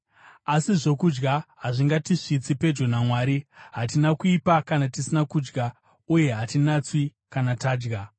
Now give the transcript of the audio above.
Asi, zvokudya hazvingatisvitsi pedyo naMwari; hatina kuipa kana tisina kudya uye hatinatswi kana tadya.